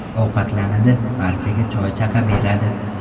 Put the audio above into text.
Ovqatlanadi, barchaga choy-chaqa beradi.